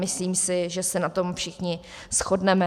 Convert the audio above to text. Myslím si, že se na tom všichni shodneme.